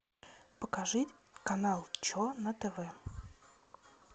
покажи канал че на тв